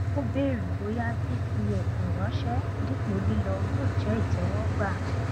ó bèrè bóyá fífi ẹbùn ránṣẹ dípò lílọ yóò jẹ ìtẹwọgbà